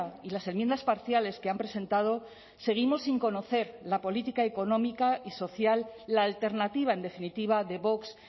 y las enmiendas parciales que han presentado seguimos sin conocer la política económica y social la alternativa en definitiva de vox